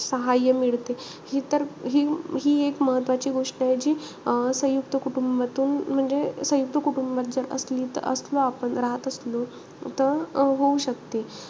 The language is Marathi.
सहायय मिळते हि तर हि हि एक मह्त्वाची गोष्ट आहे. जी अं सयुंक्त कुटुंबातून म्हणजे सयुंक्त कुटुंबात जर असली त असलं आपण राहत असलो. त अं होऊ शकते.